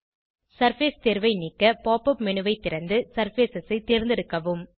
surface தேர்வை நீக்க pop up menu ஐ திறந்து சர்ஃபேஸ் ஐ தேர்ந்தெடுக்கவும்